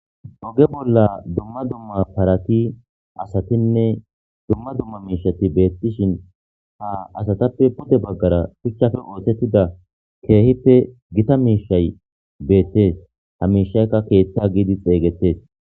Oge bolla dumma dumma parati asatinne dumma dumma miishati beettishin ha asatappe pudde baggara phichchafe oottettida keehippe gita miishay beettes ha miishaykka keeththa giidi xeeygettes